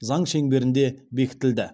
заң шеңберінде бекітілді